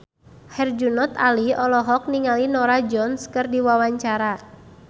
Herjunot Ali olohok ningali Norah Jones keur diwawancara